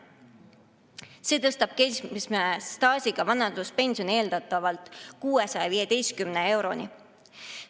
See tõstab keskmise staažiga vanaduspensioni eeldatavalt 615 euroni.